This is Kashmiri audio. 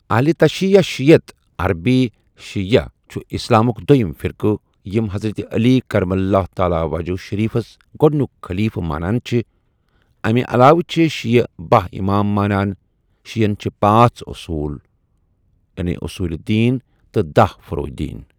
اہل تشیع یا شیعیت عربی شیعة چھُ اِسلامُک دویم فرقہ یم حضرت علی کرم اللہ تعالی وجہ شریفس گوڈنیک خلیفہ مانان چھےٚ اَمہِ علاوہ چھےٚ شیعہ باہ امام مانان شیعین چھِ پانژھ اصول یعنی اصولِ دین تہ داہ فروع دین۔